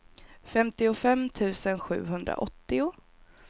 femtiofem tusen sjuhundraåttio